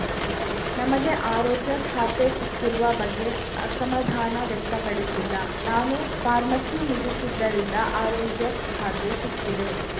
ನಮಗೆ ಆರೋಗ್ಯ ಖಾತೆ ಸಿಕ್ಕಿರುವ ಬಗ್ಗೆ ಅಸಮಾಧಾನ ವ್ಯಕ್ತಪಡಿಸಿಲ್ಲ ನಾನು ಫಾರ್ಮಸಿ ಮುಗಿಸಿದ್ದರಿಂದ ಆರೋಗ್ಯಖಾತೆ ಸಿಕ್ಕಿದೆ